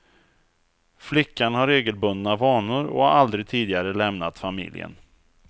Flickan har regelbundna vanor och har aldrig tidigare lämnat familjen.